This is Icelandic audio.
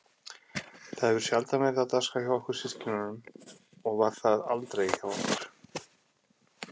Það hefur sjaldan verið á dagskrá hjá okkur systkinunum og var það aldrei hjá okkur